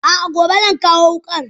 A'a gobe zan kawo wukar.